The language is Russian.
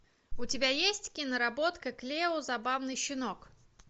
у тебя есть киноработка клео забавный щенок